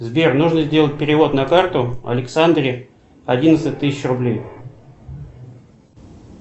сбер нужно сделать перевод на карту александре одиннадцать тысяч рублей